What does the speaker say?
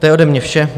To je ode mne vše.